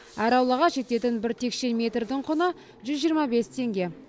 әр аулаға жететін бір текше метрдің құны жүз жиырма бес теңге